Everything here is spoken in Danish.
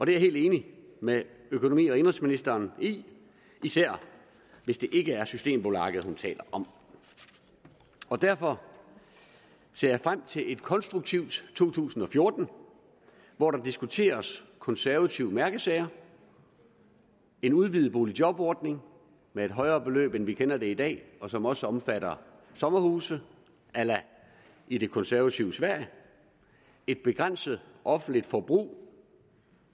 jeg helt enig med økonomi og indenrigsministeren i især hvis det ikke er systembolaget hun taler om derfor ser jeg frem til et konstruktivt to tusind og fjorten hvor der diskuteres konservative mærkesager en udvidet boligjobordning med et højere beløb end vi kender det i dag og som også omfatter sommerhuse a la i det konservative sverige et begrænset offentligt forbrug